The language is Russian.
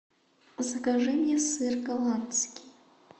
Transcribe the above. закажи мне сыр голландский